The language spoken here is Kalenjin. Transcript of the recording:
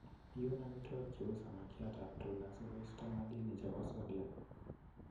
Iun amitwogik cheu samakiata ap tuna sikoisto madini chepo sodiam.